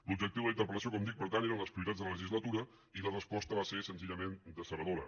l’objectiu de la interpel·lació com dic per tant eren les prioritats de la legislatura i la resposta va ser senzillament decebedora